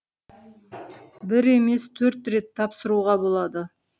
бір емес төрт рет тапсыруға болады